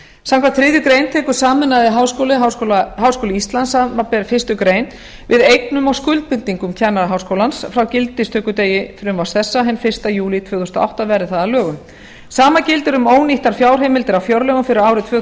samkvæmt þriðju grein tekur sameinaður háskóli íslands samanber fyrstu grein við eignum og skuldbindingum kennaraháskólans frá gildistökudegi frumvarps þessa hinn fyrsta júlí tvö þúsund og átta verði það að lögum sama gildir um ónýttar fjárheimildir á fjárlögum fyrir árið tvö